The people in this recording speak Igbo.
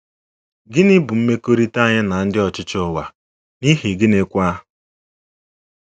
Gịnị bụ mmekọrịta anyị na ndị ọchịchị ụwa, n’ihi gịnịkwa?